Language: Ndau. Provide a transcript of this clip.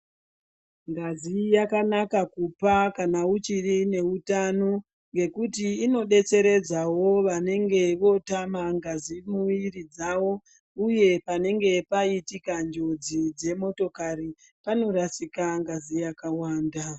Ngazi yakanaka kupa kana uchiri neutano, nekuti inodetseredzawo vanenga votama ngazi mumuiri dzawo, uye panenga paitika njodzi yemotokari panorasika ngazi yakawanda.